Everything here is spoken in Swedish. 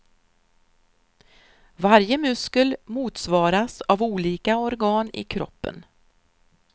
Varje muskel motsvaras av olika organ i kroppen.